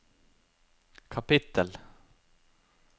kapittel